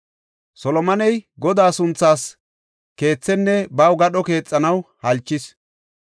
Solomoney Godaa sunthaas keethenne baw gadho keexanaw halchis.